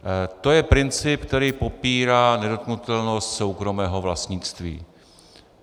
To je princip, který popírá nedotknutelnost soukromého vlastnictví.